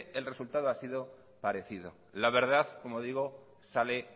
el resultado ha sido parecido la verdad como digo sale